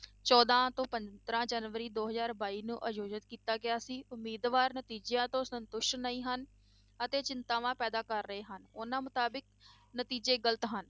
ਚੌਦਾਂ ਤੋਂ ਪੰਦਰਾਂ ਜਨਵਰੀ ਦੋ ਹਜ਼ਾਰ ਬਾਈ ਨੂੰ ਆਯੋਜਤ ਕੀਤਾ ਗਿਆ ਸੀ, ਉਮੀਦਵਾਰ ਨਤੀਜਿਆਂ ਤੋਂ ਸੰਤੁਸ਼ਟ ਨਹੀਂ ਹਨ ਅਤੇ ਚਿੰਤਾਵਾਂ ਪੈਦਾ ਕਰ ਰਹੇ ਹਨ, ਉਹਨਾਂ ਮੁਤਾਬਿਕ ਨਤੀਜੇ ਗ਼ਲਤ ਹਨ।